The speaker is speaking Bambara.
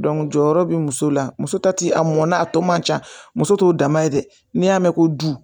jɔyɔrɔ be muso la muso ta ti a mɔn na a tɔ man ca muso t'o dama ye dɛ n'i y'a mɛn ko